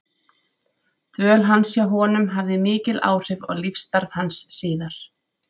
Dvöl hans hjá honum hafði mikil áhrif á lífsstarf hans síðar.